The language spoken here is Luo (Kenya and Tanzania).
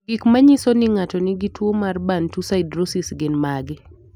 Gik manyiso ni ng'ato nigi tuwo mar Bantu siderosis gin mage?